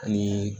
Ani